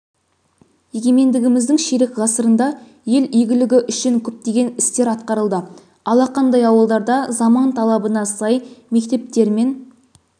егемендігіміздің ширек ғасырында ел игілігі үшін көптеген істер атқарылды алақандай ауылдарда заман талабына сай мектептер мен